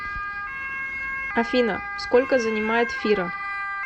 афина сколько занимает фира